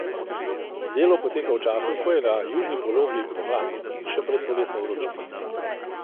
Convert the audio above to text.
Delo poteka v času, ko je na južni polobli pomlad, in še pred poletno vročino.